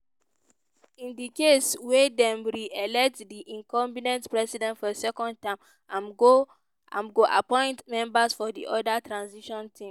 in di case wia dem re-elect di incumbent president for second term im go appoint members for di oda transition team.